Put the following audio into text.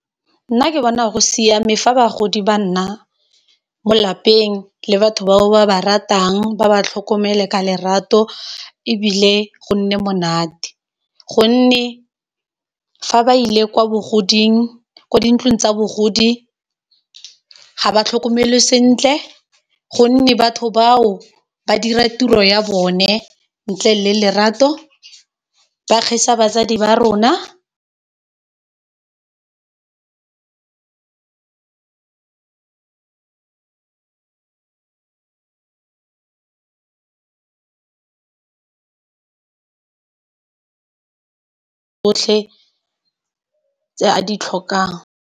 Nna ke bona go siame fa bagodi ba nna mo lapeng le batho ba o ba ba ratang ba ba tlhokomele ka lerato e bile go nne monate, gonne fa ba ile kwa bogodimong kwa dintlong tsa bogodi ga ba tlhokomelwe sentle, gonne batho bao ba dira tiro ya bone ntle le lerato, ba kgesa batsadi ba rona tsotlhe tse a di tlhokang.